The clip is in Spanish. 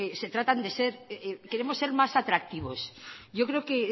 se tratan de ser queremos ser más atractivos yo creo que